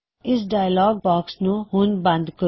ਇਸ dialogue box ਨੂੰ ਹੁਣ ਬੰਦ ਕਰੋ